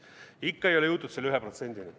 Ikka ei ole jõutud selle 1%-ni.